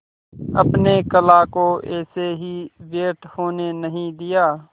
अपने कला को ऐसे ही व्यर्थ होने नहीं दिया